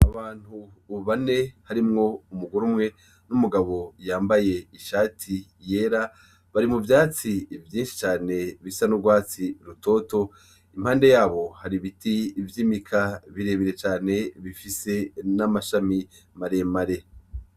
Abantu bane harimwo umugore umwe n'umugano yambaye ishati yera bari mu vyatsi vyinshi cane bisa n'urwatsi rutoto. Impande yabo hari ibiti vy'imika birebire cane bifise n'amashami maremare.